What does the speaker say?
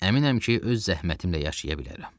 Əminəm ki, öz zəhmətimlə yaşaya bilərəm.